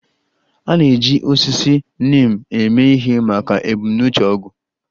A na-eji osisi neem eme ihe maka ebumnuche ọgwụ